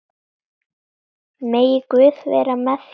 Megi Guð vera með þér.